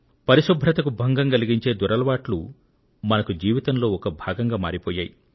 పరిశుభ్రతకు భంగం కలిగించే దురలవాట్లు మనకు జీవితంలో ఒక భాగంగా మారిపోయాయి